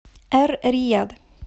эр рияд